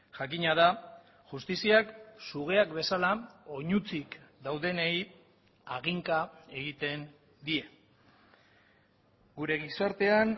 jakina da justiziak sugeak bezala oinutsik daudenei haginka egiten die gure gizartean